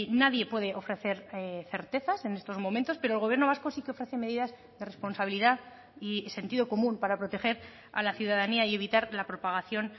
nadie puede ofrecer certezas en estos momentos pero el gobierno vasco sí que ofrece medidas de responsabilidad y sentido común para proteger a la ciudadanía y evitar la propagación